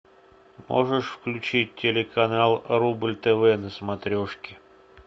можешь включить телеканал рубль тв на смотрешке